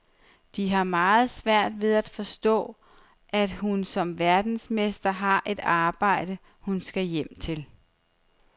De har meget svært ved at forstå, at hun som verdensmester har et arbejde, hun skal hjem til.